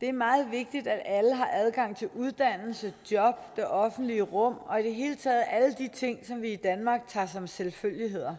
det er meget vigtigt at alle har adgang til uddannelse job det offentlige rum og i det hele taget alle de ting som vi i danmark tager som selvfølgeligheder